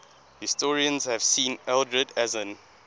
historians have seen ealdred as an